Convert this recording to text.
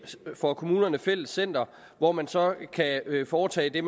for kommunerne fælles center hvor man så kan foretage det